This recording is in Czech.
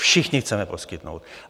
Všichni chceme poskytnout.